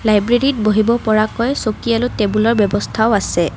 লাইব্ৰেৰীত বহিব পৰাকৈ চকী আৰু টেবুলৰ ব্যৱস্থাও আছে।